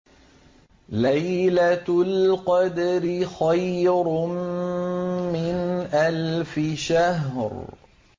لَيْلَةُ الْقَدْرِ خَيْرٌ مِّنْ أَلْفِ شَهْرٍ